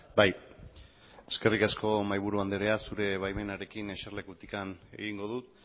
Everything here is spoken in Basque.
bai eskerrik asko mahaiburu andrea zurea baimenarekin eserlekutik egingo dut